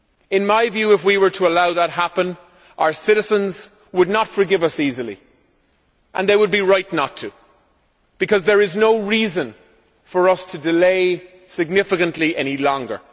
In my view, if we were to allow that to happen, our citizens would not forgive us easily, and they would be right not to, because there is no reason for us to delay significantly any longer.